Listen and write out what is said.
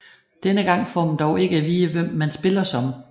Denne gang får man dog ikke at vide hvem man spiller som